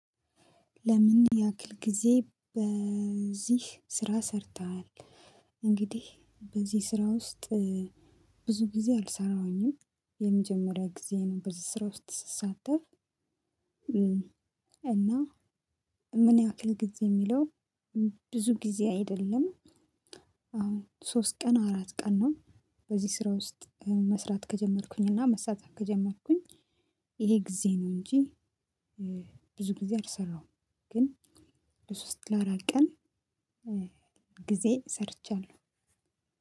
ለምን ያክል ጊዜ በዚህ ስራ ሰርተሃል? እንግዲህ በዚህ ስራ ውስጥ ብዙ ጊዜ አልሰራሁኝም። የመጀመሪያ ጊዜ ነው በዚህ ስራ ውስጥ ስሳተፍ። እና ምን ያክል ጊዜ የሚለው ብዙ ጊዜ አይደለም። አሁን ሶስት ቀን አራት ቀን ነው። በዚህ ስራ ውስጥ መስራት ከጀመርኩኝ እና መሳተፍ ከጀመርኩኝ ይሄ ጊዜ ነው እንጂ። ብዙ ጊዜ አልሰራሁም። ግን ለሶስት ለአራት ቀን ጊዜ ሰርቻለሁ።